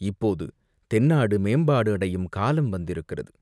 இப்போது தென்னாடு மேம்பாடு அடையும் காலம் வந்திருக்கிறது.